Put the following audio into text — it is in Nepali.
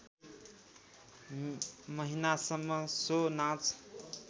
महिनासम्म सो नाच